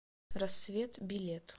рассвет билет